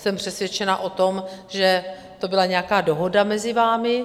Jsem přesvědčena o tom, že to byla nějaká dohoda mezi vámi.